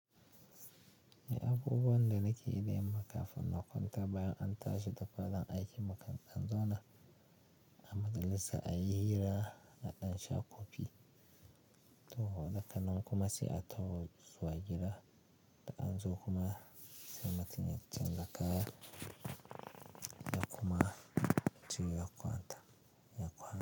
Ni abubuwan da nake yi da yanmakafin na kwanta bayan an tashi da gawajen aiki, mukan dan zau na amaja lissa a yi hira a ɗan sha kofi, to hoda kanan kuma sai a taho zuwa gida da an zo kuma sai mutun ya canza kaya ya kuma je ya kwanta ya kwanta.